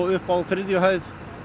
uppi á þriðju hæð